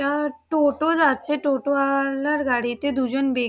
একটা টোটো যাচ্ছে। টোটো ওয়ালার গাড়িতে দুজন ব্যক্ --